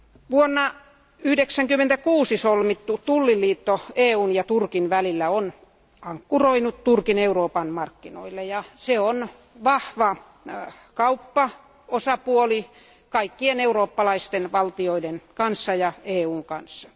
Vuonna 1996 solmittu tulliliitto EUn ja Turkin välillä on ankkuroinut Turkin Euroopan markkinoille ja se on vahva kauppaosapuoli kaikkien eurooppalaisten valtioiden kanssa ja EUn kanssa.